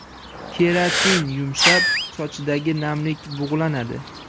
Keratin yumshab, sochdagi namlik bug‘lanadi.